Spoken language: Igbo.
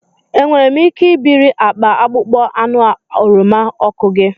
Enwere m ike ibiri akpa akpụkpọ anụ oroma ọkụ gi?